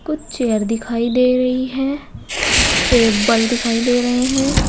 कुछ चेयर दिखाई दे रही है टेबल दिखाई दे रहे हैं।